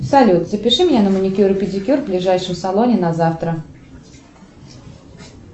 салют запиши меня на маникюр и педикюр в ближайшем салоне на завтра